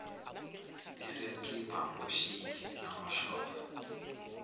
esemkhipha ngoshiki nangoshova